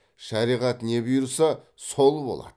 шариғат не бұйырса сол болады